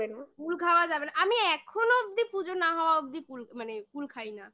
কুল খাওয়া যাবে না আমি এখনো অবধি পুজো না হওয়া অব্দি মানে কুল খাই না